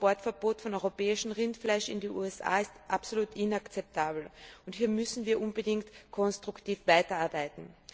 Das Importverbot von europäischem Rindfleisch in die USA ist absolut inakzeptabel, hier müssen wir unbedingt konstruktiv weiterarbeiten.